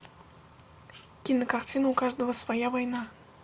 кинокартина у каждого своя война